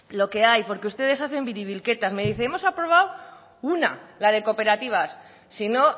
lo que hay porque ustedes hacen biribilketas me dicen hemos aprobado una la de cooperativas si no